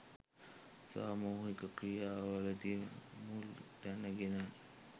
සාමුහික ක්‍රියා වලදී මුල් තැන ගෙන